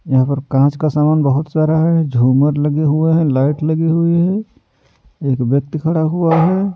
यहां पर कांच का सामान बहुत सारा है झूमर लगे हुए हैं लाइट लगी हुई है एक व्यक्ति खड़ा हुआ है।